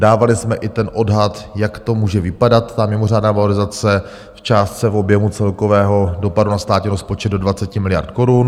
Dávali jsme i ten odhad, jak to může vypadat, ta mimořádná valorizace, v částce, v objemu celkového dopadu na státní rozpočet do 20 miliard korun.